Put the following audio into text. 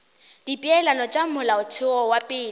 dipeelano tša molaotheo wa pele